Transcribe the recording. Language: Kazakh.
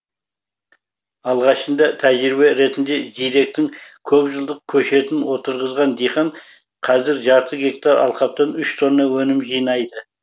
алғашында тәжірибе ретінде жидектің көпжылдық көшетін отырғызған диқан қазір жарты гектар алқаптан үш тонна өнім жинайды